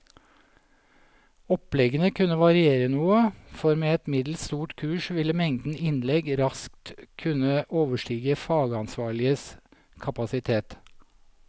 Oppleggene kunne variere noe, for med et middels stort kurs ville mengden innlegg raskt kunne overstige fagansvarliges kapasitet.